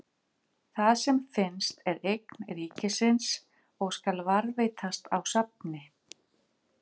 Það sem finnst er eign ríkisins og skal varðveitast á safni.